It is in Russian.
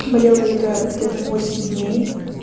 болело это где-то восемь дней